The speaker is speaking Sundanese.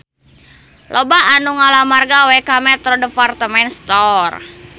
Loba anu ngalamar gawe ka Metro Department Store